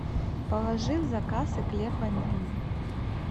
положи в заказ эклер ванильный